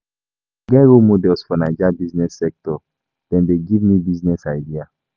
I get role models for Naija business sector, dem dey give me business ideas.